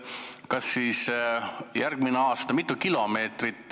Kas siis tehakse järgmine aasta?